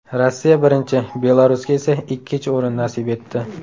Rossiya birinchi, Belarusga esa ikkinchi o‘rin nasib etdi.